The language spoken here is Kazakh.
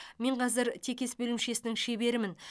мен қазір текес бөлімшесінің шеберімін